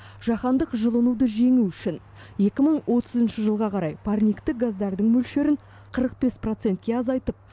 жаһандық жылынуды жеңу үшін екі мың отызыншы жылға қарай парниктік газдардың мөлшерін қырық бес процентке азайтып